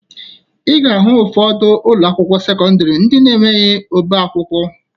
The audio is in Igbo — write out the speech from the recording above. Ị ga-ahụ ụfọdụ ụlọakwụkwọ sekọndịrị ndị na-enweghi ọbaakwụkwọ